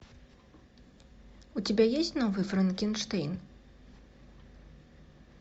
у тебя есть новый франкенштейн